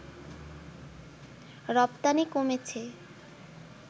রপ্তানি কমেছে